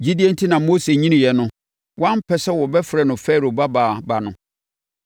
Gyidie enti na Mose nyiniiɛ no, wampɛ sɛ wɔbɛfrɛ no Farao babaa ba no.